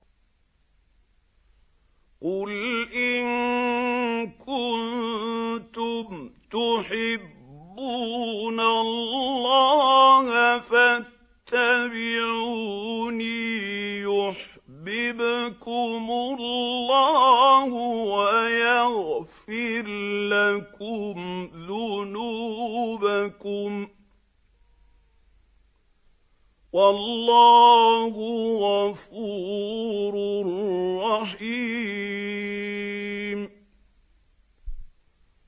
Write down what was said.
قُلْ إِن كُنتُمْ تُحِبُّونَ اللَّهَ فَاتَّبِعُونِي يُحْبِبْكُمُ اللَّهُ وَيَغْفِرْ لَكُمْ ذُنُوبَكُمْ ۗ وَاللَّهُ غَفُورٌ رَّحِيمٌ